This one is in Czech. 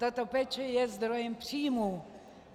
Tato péče je zdrojem příjmů.